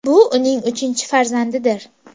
Bu uning uchinchi farzandidir.